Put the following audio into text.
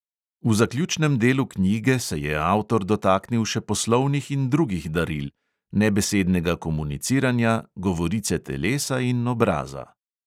V zaključnem delu knjige se je avtor dotaknil še poslovnih in drugih daril, nebesednega komuniciranja, govorice telesa in obraza.